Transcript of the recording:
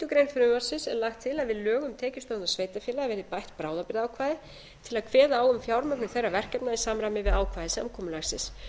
grein frumvarpsins er lagt til að við lög um tekjustofna sveitarfélaga verði bætt bráðabirgðaákvæði til að kveða á um fjármögnun þeirra verkefna í samræmi við ákvæði samkomulagsins